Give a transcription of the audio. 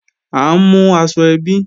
À ń mú aṣọ ẹbí